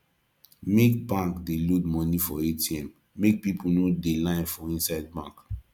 make bank dey load moni for atm make pipu no dey line for inside bank